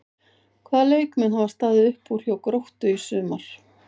Hvaða leikmenn hafa staðið upp úr hjá Gróttu í sumar?